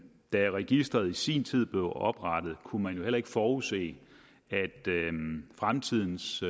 da registreret i sin tid blev oprettet kunne man jo heller ikke forudse at fremtidens